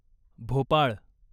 Bhopal